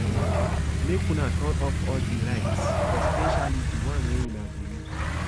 Make una turn off all the lights especially the one una no dey use